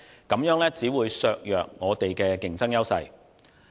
這樣只會削弱我們的競爭優勢。